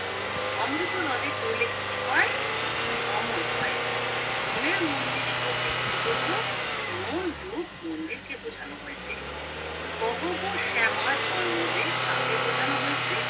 অমৃত নদে পড়লে কি হয় অমর হয় মনের মন্দিরে বলতে কি বোঝো মন রূপ মন্দিরকে বোঝানো হয়েছে। কহ গো শ্যামা জন্মদেব কাকে বোঝানো হয়েছে